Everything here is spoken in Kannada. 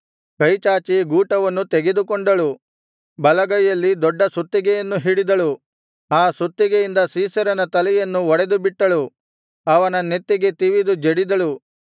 ಕೈಚಾಚಿ ಗೂಟವನ್ನು ತೆಗೆದುಕೊಂಡಳು ಬಲಗೈಯಲ್ಲಿ ದೊಡ್ಡ ಸುತ್ತಿಗೆಯನ್ನು ಹಿಡಿದಳು ಆ ಸುತ್ತಿಗೆಯಿಂದ ಸೀಸೆರನ ತಲೆಯನ್ನು ಒಡೆದುಬಿಟ್ಟಳು ಅವನ ನೆತ್ತಿಗೆ ತಿವಿದು ಜಡಿದಳು